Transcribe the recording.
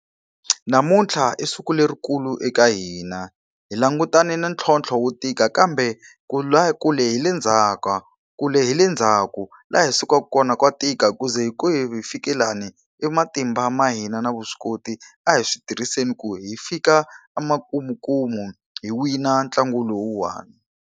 Namuntlha i siku lerikulu eka hina. Hi langutane na ntlhontlho wo tika kambe, kule hi le kule hi le ndzhaku. Laha hi sukaka kona ka tika ku ze hi hi fika lani, i matimba ma hina na vuswikoti. A hi swi tirhiseni ku hi fika emakumukumu hi wina ntlangu lowuwani.